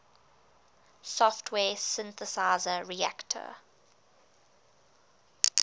software synthesizer reaktor